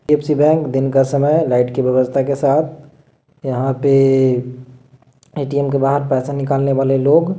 HDFC bank दिन का समय है और लाईट की व्यवस्था के साथ यहा पे ऐ.टी.एम के बाहर पैसा निकलने वाले लोग--